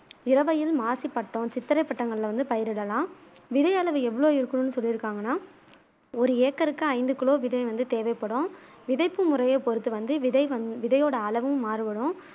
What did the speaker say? இரவையில் மாசிப்பட்டம் சித்திரைப் பட்டங்கள்ல வந்து பயிரிடலாம் விதையளவு எவ்வளவு இருக்கனும்னு சொல்லிருக்காங்கனா ஒரு ஏக்கர்க்கு ஐந்து கிலோ விதை வந்து தேவைப்படும் விதைப்பு முறையை பொருத்து வந்து விதை வந் விதையோட அளவும் மாறுபடும்